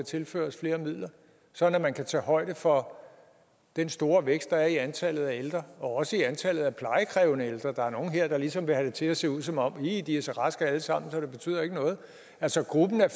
tilføres flere midler sådan at man kan tage højde for den store vækst der er i antallet af ældre og også i antallet af plejekrævende ældre der er nogle her der ligesom vil have det til at se ud som om de er så raske alle sammen så det betyder ikke noget altså gruppen af